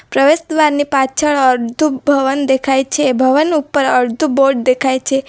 પ્રવેશદ્વાર ની પાછળ અડધું ભવન દેખાય છે ભવન ઉપર અડધું બોર્ડ દેખાય છે.